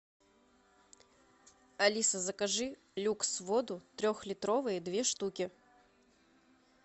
алиса закажи люкс воду трехлитровые две штуки